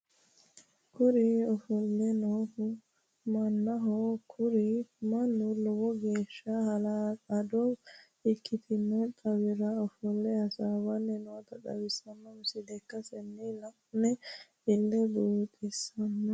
Kuri ofolle noohu mannaho kuri mannu lowo geeshsha hala'lado ikkino xaawira ofolte hassbbanni noota xawissano misile ikkase la'ino ille buuxissanno.